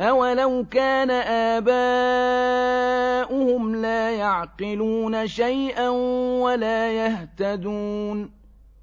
أَوَلَوْ كَانَ آبَاؤُهُمْ لَا يَعْقِلُونَ شَيْئًا وَلَا يَهْتَدُونَ